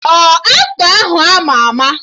Ọ aktọ ahụ ama ama?